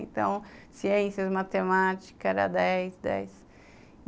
Então, ciências, matemática, era dez, dez.